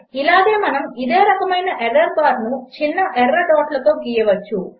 ఇలాగే మనము ఇదే రకమైన ఎర్రర్ బార్ను చిన్న ఎర్ర డాట్లతో గీయవచ్చు